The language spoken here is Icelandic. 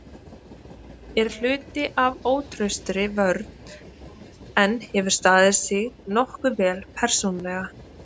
Er hluti af ótraustri vörn en hefur staðið sig nokkuð vel persónulega.